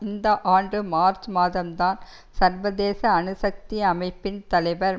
இந்த ஆண்டு மார்ச் மாதம் தான் சர்வதேச அணுசக்தி அமைப்பின் தலைவர்